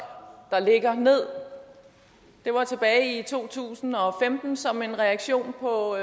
der ligger ned det var tilbage i to tusind og femten som en reaktion på